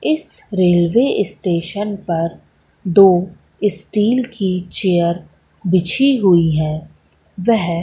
इस railway station पर दो स्टील की चेयर बिछी हुई है वह--